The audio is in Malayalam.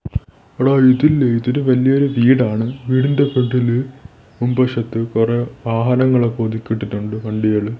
എടാ ഇതില്ലേ ഇതൊരു വല്ല്യരു വീടാണ് വീടിൻ്റെ ഫ്രണ്ടില് മുൻവശത്ത് കൊറെ വാഹനങ്ങൾ ഒക്കെ ഒതുക്കി ഇട്ടിറ്റുണ്ട് വണ്ടികള്.